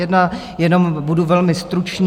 Jenom budu velmi stručný.